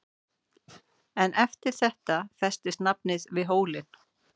En eftir þetta festist nafnið við hólinn.